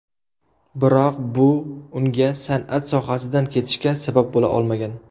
Biroq bu unga san’at sohasidan ketishga sabab bo‘la olmagan.